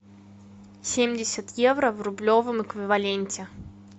семьдесят евро в рублевом эквиваленте